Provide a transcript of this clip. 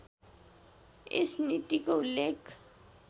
यस नीतिको उल्लेख